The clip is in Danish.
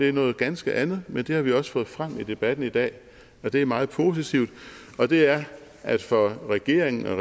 er noget ganske andet men det har vi også fået frem i debatten i dag det er meget positivt og det er at for regeringen og